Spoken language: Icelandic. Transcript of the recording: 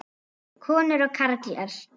Konur og karlar.